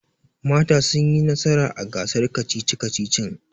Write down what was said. Mata sun yi nasara a gasar kacici-kacicin